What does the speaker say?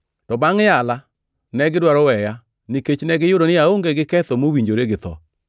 To Bangʼ yala, negidwaro weya, nikech negiyudo ni aonge gi ketho mowinjore gi tho.